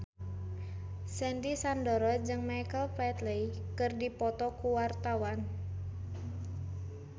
Sandy Sandoro jeung Michael Flatley keur dipoto ku wartawan